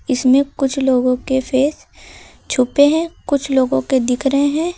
इसमें कुछ लोगों के फेस छुपे हैं कुछ लोगों के दिख रहे हैं।